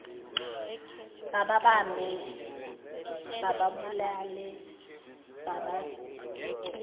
bababambe bababulale babacwiye